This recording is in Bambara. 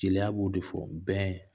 Jeliya b'o de fɔ bɛn.